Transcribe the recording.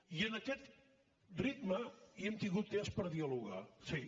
i en aquest ritme hem tingut temps per dialogar sí